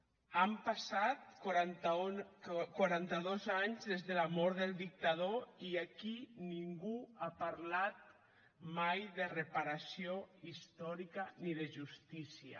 han passat quaranta dos anys des de la mort del dictador i aquí ningú ha parlat mai de reparació històrica ni de justícia